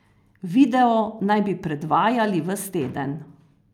Video naj bi predvajali ves teden.